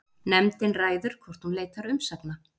Nefndin ræður hvort hún leitar umsagna